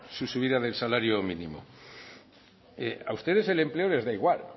su subida del salario mínimo a ustedes el empleo les da igual